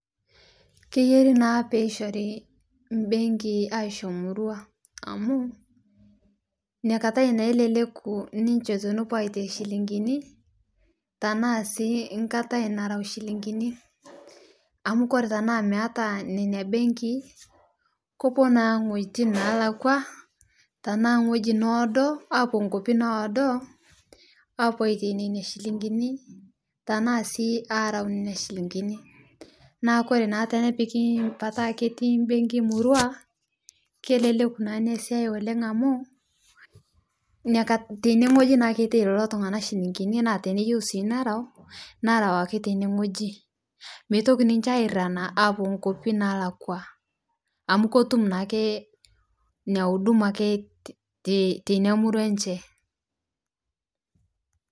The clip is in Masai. Keyerii naa peyiishorii nbenkii ashoo murua amuu nikatai naa eleleku ninche tonopuo aitai shilingini tanaa sii katai narau shilingin,i amuu kore tanaa meata nenia benkii kopuo naa n'gojitin nalakwa tanaa ng'oji noodo apuo nkopi noodoo apuoo aitai nenia shilingini tanaa sii arau nenia shilingini ,naa kore naa tenepiki pataa ketii benki murua keleleku naa nia siyai oleng amuu teneng'oji naake eitai lolotung'ana shilingini naa teneyeu sii nerau narau ake tening'oji meitoki ninche airana apuo nkopii naalakwa amuu kotumu naake nia(cs huduma cs) akee tenia murua enchee.